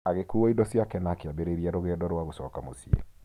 Agĩkuua indo ciake na akĩambĩrĩria rũgendo rwa gũcoka mũciĩ.